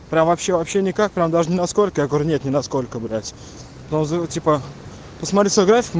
прям вообще вообще никак прям даже ни насколько я говорю нет ни насколько блять ну зае типа посмотри свой график